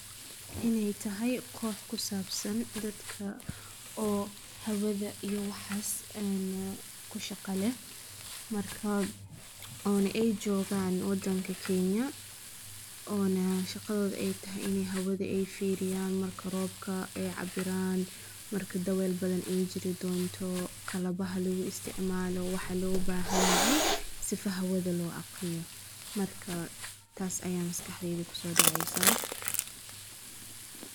Inay tahay koox ku saabsan dadka oo hawada iyo waxaas een ku shaqo leh, markaan oona ay joogaan waddanka kenya, oona shaqadooda ay tahay inay hawada ay fiiriyaan marka roobka ee cabiraan ,marka daweel badan ay jiri doonto, qalabaha lagu isticmaalo, waxa loo baahan yahay sifa hawada loo akhriyo marka taas ayaa maskaxdeeda kusoo dhacaysaa.